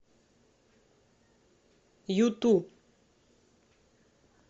юту